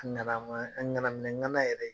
A ŋanama a ŋana minɛŋana yɛrɛ